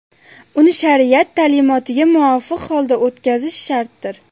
Uni shariat ta’limotiga muvofiq holda o‘tkazish shartdir.